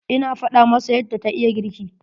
Ina faɗa masa yadda ta iya girki.